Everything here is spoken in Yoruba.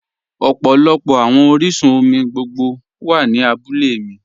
Ọpọlọpọ awọn oriṣun-omi gbogbo wa ni àbúlẹ̀ mi